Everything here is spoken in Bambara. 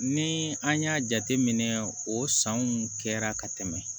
Ni an y'a jateminɛ o sanw kɛra ka tɛmɛ